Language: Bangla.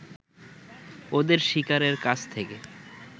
ওদের শিকারের কাছ থেকে